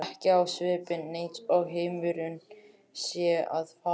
Ekki á svipinn eins og heimurinn sé að farast.